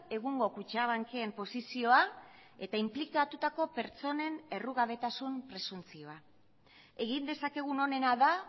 egungo kutxabank en posizioa eta inplikatutako pertsonen errugabetasun presuntzioa egin dezakegun onena da